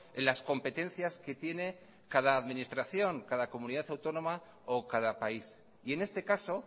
en las competencias que tiene cada administración cada comunidad autónoma o cada país y en este caso